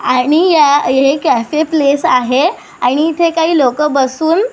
आणि हे cafe place आहे आणि इथे काही लोक बसून --